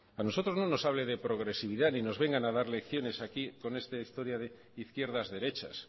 a nosotros no nos hable de progresividad ni nos vengan a dar lecciones aquí con esta historia de izquierdas derechas